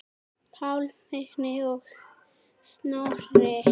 Páll, Vignir og Snorri.